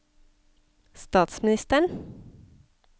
statsministeren